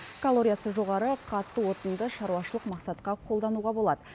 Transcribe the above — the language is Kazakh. калориясы жоғары қатты отынды шаруашылық мақсатқа қолдануға болады